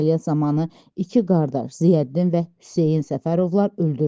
Əməliyyat zamanı iki qardaş Ziyəddin və Hüseyn Səfərovlar öldürülüb.